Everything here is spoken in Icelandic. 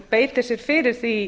beiti sér fyrir því